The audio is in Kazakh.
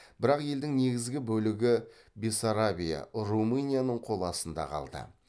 бірақ елдің негізгі бөлігі бессарабия румынияның қол астында қалды